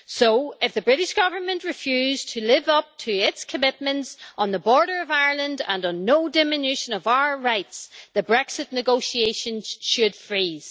So, if the British Government refuses to live up to its commitments on the border of Ireland and on no diminution of our rights, the Brexit negotiations should freeze.